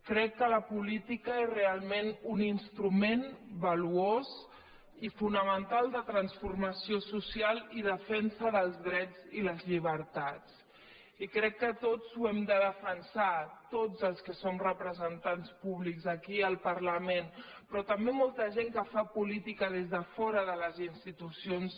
crec que la política és re·alment un instrument valuós i fonamental de transfor·mació social i defensa dels drets i les llibertats i crec que tots ho hem de defensar tots els que som repre·sentants públics aquí al parlament però també mol·ta gent que fa política des de fora de les institucions